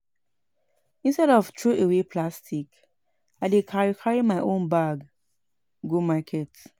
Instead of throwaway plastic, I dey carry carry my own bag go market